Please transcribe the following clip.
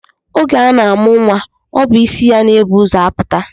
Oge a na-amụ nnwa ọ bụ isi ya na-ebu ụzọ apụta